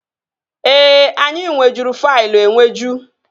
Ee, anyị nwejuru faịlụ enweju